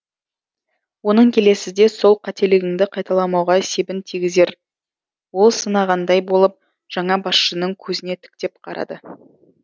оның келесіде сол қателігіңді қайталамауға себін тигізер ол сынағандай болып жаңа басшының көзіне тіктеп қарады